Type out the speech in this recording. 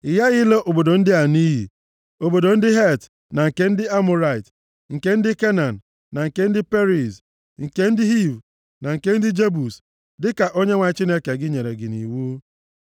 Ị ghaghị ịla obodo ndị a nʼiyi: obodo ndị Het na nke ndị Amọrait, nke ndị Kenan na nke ndị Periz, nke ndị Hiv na nke ndị Jebus, dịka Onyenwe anyị Chineke gị nyere gị nʼiwu.